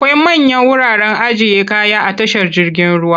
Akwai manyan wuraren ajiye kaya a tashar jirgin ruwa.